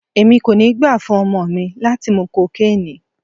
Èmi kò ní gbà fún ọmọ mi láti mú cocaine.